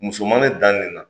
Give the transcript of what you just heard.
Muso ma ne dan nin la